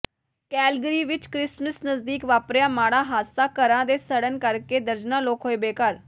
Calgary ਵਿੱਚ Christmas ਨਜਦੀਕ ਵਾਪਰਿਆ ਮਾੜਾ ਹਾਦਸਾ ਘਰਾਂ ਦੇ ਸੜਣ ਕਰਕੇ ਦਰਜਨਾਂ ਲੋਕ ਹੋਏ ਬੇਘਰ